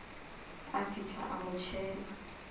a fihla a mo tšhela